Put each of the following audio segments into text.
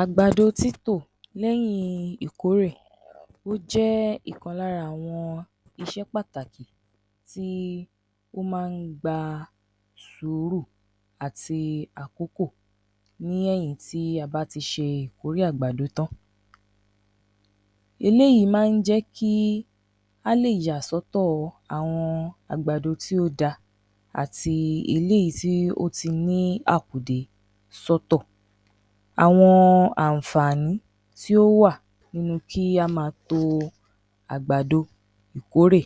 Àgbàdo títò lẹ́yìn ìkórè, ó jẹ́ ìkan lára àwọn iṣẹ́ pàtàkì tí ó máa ń gba sùúrù àti àkòkò ní èyìn tí a bá ti ṣe ìkórè àgbàdo tán. Eléyìí máa ń jẹ́ kí á lè yà sọ́tọ̀ àwọn àgbàdo tí ó da àti eléyìí tí ó ti ní àkùdé sọ́tọ̀. Àwọn àǹfààní tí ó wà nínú kí á máa to àgbàdo ìkórè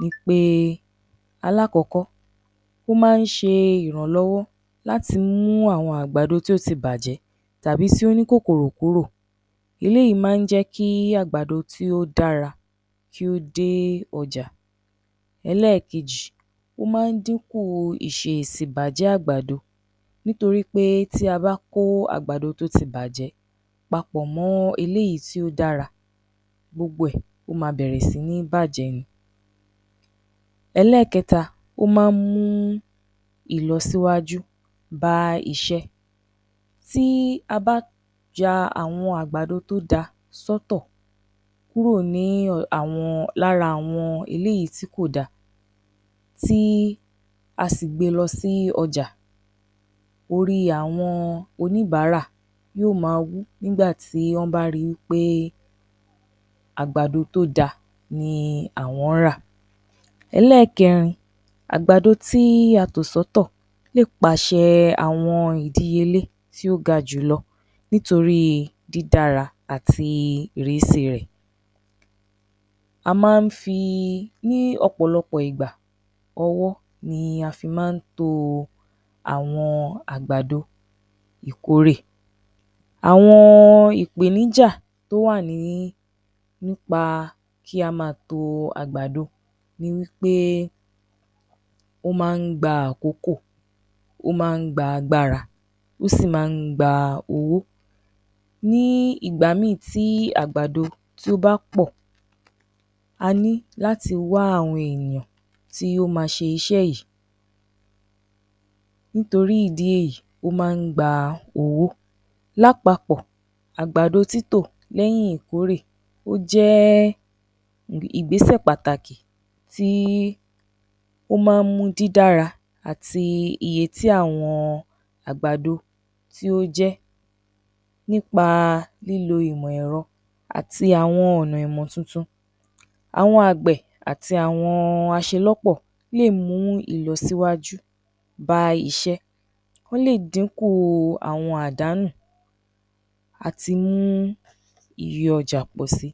ni pé, alákọ́kọ́, ó máa ń ṣe ìrànlọ́wọ́ láti mú àwọn àgbàdo tí ó ti bàjẹ́ tàbí tí ó ní kòkòrò kúrò, eléyìí máa ń jẹ́ kí àgbàdo tí ó dára kí ó dẹ́ ọjà. Ẹlẹ́kejì, ó máa ń dínkù ìṣe sì ìbàjẹ́ àgbàdo, nítorí pé tí a bá kó àgbàdo tó ti bàjẹ́ papọ̀ mọ́ èléyìí tí ó dára, gbogbo ẹ̀, ó máa bẹ̀rẹ̀ si ní bàjẹ́ ni. Ẹlẹ́kẹta, ó máa ń mú ìlọsíwájú bá iṣẹ́. Tí a bá ya àwọn àgbàdo tó dáa sọ́tọ̀ kúrò ní, lára àwọn eléyìí tí kò da, tí a si gbe lọ sí ọjà, orí àwọn oníbàárà yóò máa wú nígbà tí wọ́n bá ri pé àgbàdo tó da ni àwọn rà. Ẹlẹ́kẹ́rin, àgbàdo tí a tò sọ́tọ̀ lè pàṣẹ àwọn ìdíyelé tí ó ga jù lọ nítorí dídará àti ìrísí rẹ̀. A máa ń fi, ní ọ̀pọ̀lọpọ̀ ìgbà ọwọ́ ni a fi máa ń to àwọn àgbàdo ìkórè, àwọn ìpèníjà tó wà nípa kí á máa to àgbàdo ni wí pé, ó máa ń gba àkókò, ó máa ń gbá agbára, ó sì máa ń gba owó. Ní ìgbà mìí tí àgbào tí ó bá pọ̀, a ní láti wá àwọn ènìyàn tí wọ́n máa ṣiṣẹ́ yìí, nítorí ìdí èyí ó máa ń gba owó. Lápapọ̀ àgbàdo títò léyìn ìkórè, ó jẹ́ ìgbésè pàtàkì tí ó máa ń mú dídára àti iye tí àwọn àgbàdo tí ó jẹ́ nípa lílo ìmọ̀ ẹ̀rọ àti àwọn ọ̀nà ìmọ̀ tuntun. Àwọn àgbẹ̀ àti àwọn aṣelọ́pọ̀ lè mú ìlọsíwájú bá iṣẹ́, ó lè dínkù àwọn àdánù àti mú iye ọjà pọ̀ si.